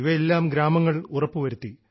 ഇവയെല്ലാം ഗ്രാമങ്ങൾ ഉറപ്പുവരുത്തി